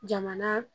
Jamana